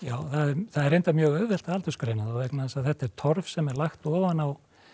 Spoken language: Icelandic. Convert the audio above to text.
það er reyndar mjög auðvelt að aldursgreina þá vegna þess að þetta er torf sem er lagt ofan á